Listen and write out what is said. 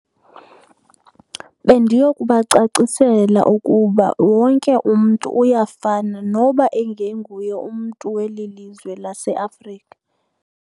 Bendiyokubacacisela ukuba wonke umntu uyafana noba ingenguye umntu weli lizwe laseAfrika.